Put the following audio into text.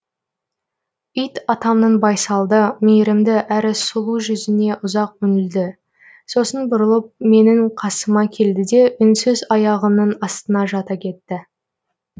ит атамның байсалды мейірімді әрі сұлу жүзіне ұзақ үңілді сосын бұрылып менің қасыма келді де үнсіз аяғымның астына жата кетті